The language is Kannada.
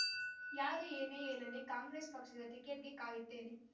ಯಾರು ಏನೇ ಹೇಳಲಿ ಕಾಂಗ್ರೆಸ್ ಪಕ್ಷದ ಟಿಕೆಟ್‌ಗೆ ಕಾಯುತ್ತೇನೆ